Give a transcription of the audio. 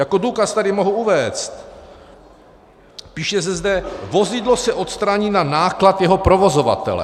Jako důkaz tady mohu uvést, píše se zde: vozidlo se odstraní na náklad jeho provozovatele.